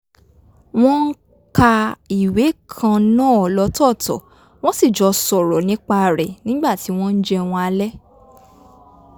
wọ́n ka ìwé kan náà lọ́tọ́ọ̀tọ̀ wọ́n sì jọ sọ̀rọ̀ nípa rẹ̀ nígbà tí wọ́n ń jẹun alẹ́